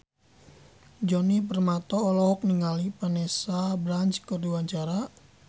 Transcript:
Djoni Permato olohok ningali Vanessa Branch keur diwawancara